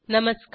नमस्कार